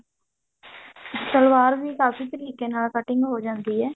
ਸਲਵਾਰ ਵੀ ਕਾਫੀ ਤਰੀਕੇ ਨਾਲ cutting ਹੋ ਜਾਂਦੀ ਹੈ